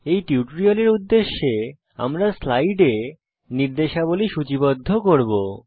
এই টিউটোরিয়ালের উদ্দেশ্যে আমরা স্লাইডে নির্দেশাবলী সূচীবদ্ধ করব